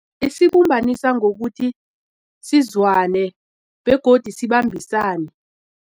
Isibumbanisa ngokuthi sizwane begodu sibambisane.